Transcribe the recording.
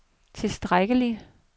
tilstrækkelig